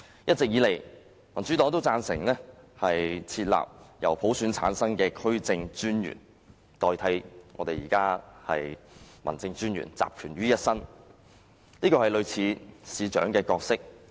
一直以來，民主黨都贊成設立由普選產生的區政專員代替現時集權於一身的民政專員，這是類似市長的角色。